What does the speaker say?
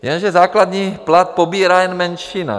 Jenže základní plat pobírá jen menšina.